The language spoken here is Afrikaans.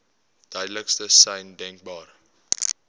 duidelikste sein denkbaar